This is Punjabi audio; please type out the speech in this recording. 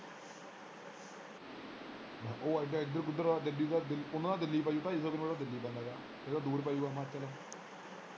ਉਹ ਇੱਧਰ ਕਿੱਧਰ ਗੱਡੀ ਪੂਨਾ ਜਾ ਦਿੱਲੀ ਢਾਈ ਸੋ ਕਿਲੋਮੀਟਰ ਤੇ ਦਿੱਲੀ ਪੈਂਦਾ ਗਾ ਇਹ ਤਾ ਦੂਰ ਪਏਗਾ ਹਿਮਾਚਲ।